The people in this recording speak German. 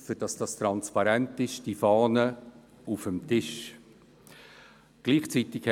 Sie haben die entsprechende Gesetzesfahne auf dem Tisch vor sich liegen.